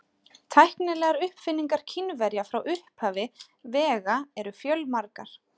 Tæknilegar uppfinningar Kínverja frá upphafi vega eru fjölmargar.